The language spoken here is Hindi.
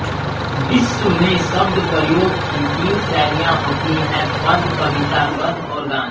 विश्व में शब्दप्रयोग की तीन शैलियाँ होती हैं पद्य कविता गद्य और गान